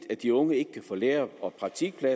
at jeg